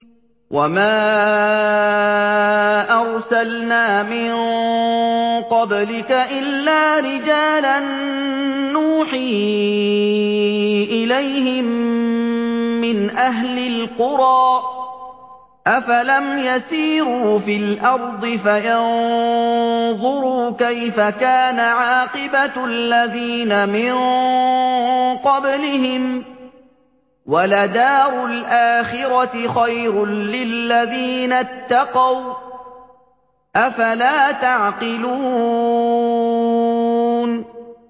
وَمَا أَرْسَلْنَا مِن قَبْلِكَ إِلَّا رِجَالًا نُّوحِي إِلَيْهِم مِّنْ أَهْلِ الْقُرَىٰ ۗ أَفَلَمْ يَسِيرُوا فِي الْأَرْضِ فَيَنظُرُوا كَيْفَ كَانَ عَاقِبَةُ الَّذِينَ مِن قَبْلِهِمْ ۗ وَلَدَارُ الْآخِرَةِ خَيْرٌ لِّلَّذِينَ اتَّقَوْا ۗ أَفَلَا تَعْقِلُونَ